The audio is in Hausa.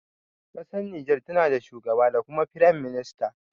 Ƙasar Niger na da shugaba da kuma firam minista.